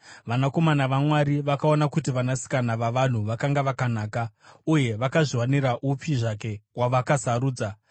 vanakomana vaMwari vakaona kuti vanasikana vavanhu vakanga vakanaka, uye vakazviwanira upi zvake wavakasarudza.